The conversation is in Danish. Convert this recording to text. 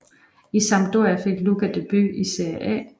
I Sampdoria fik Luca debut i Seria A